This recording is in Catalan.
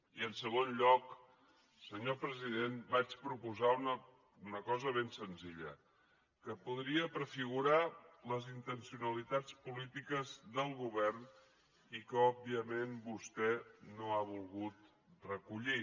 i en segon lloc senyor president vaig proposar una cosa ben senzilla que podria prefigurar les intencionalitats polítiques del govern i que òbviament vostè no ha volgut recollir